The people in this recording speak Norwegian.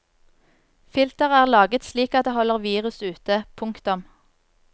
Filteret er laget slik at det holder virus ute. punktum